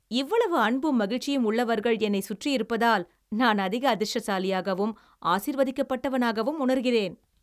இவ்வளவு அன்பும் மகிழ்ச்சியும் உள்ளவர்கள் என்னைச் சுற்றியிருப்பதால் நான் அதிக அதிர்ஷ்டசாலியாகவும் ஆசீர்வதிக்கப்பட்டவனாகவும் உணர்கிறேன்!